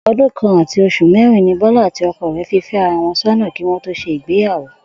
O̩dún kan àti os̩ù mérin ni Bó̩lá àti o̩ko̩ rè̩ fi fé̩ ara wo̩n só̩nà kí wó̩n tó s̩e ìgbéyàwó